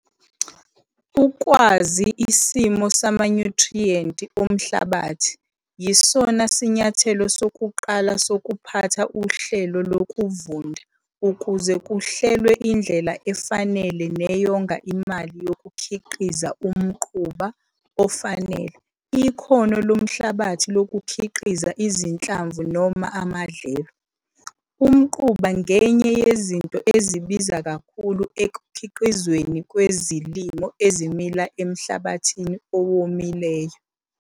Ukwazi isimo samanyuthriyenti omhlabathi yisona sinyathelo sokuqala sokuphatha uhlelo lokuvunda ukuze kuhlelwe indlela efanele neyonga imali yokukhiqizia umquba ofanele ikhono lomhlabathi lokukhiqiza izinhlamvu noma amadlelo. Umquba ngenye yezinto ezibiza kakhulu ekukhiqizweni kwezilimo ezimila emhlabathini owomileyo.